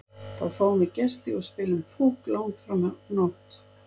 Þá fáum við gesti og spilum Púkk langt fram á nótt.